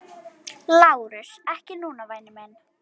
LÁRUS: Ekki núna, væni minn.